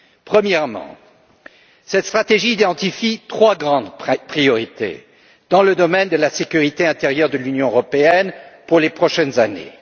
Premièrement, cette stratégie relève trois grandes priorités dans le domaine de la sécurité intérieure de l'Union européenne pour les prochaines années.